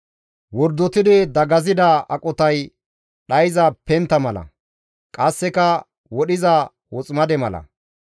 Wordotidi dagasida aqotay dhayza pentta mala; qasseka wodhiza woximade mala.